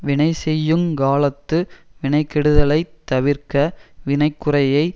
வினைசெய்யுங் காலத்து வினைகெடுதலைத் தவிர்க வினைக்குறையை